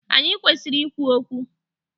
Anyị kwesịrị ikwu okwu